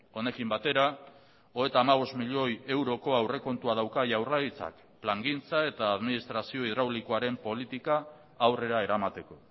honekin batera hogeita hamabost milioi euroko aurrekontua dauka jaurlaritzak plangintza eta administrazio hidraulikoaren politika aurrera eramateko